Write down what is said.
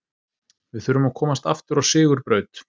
Við þurfum að komast aftur á sigurbraut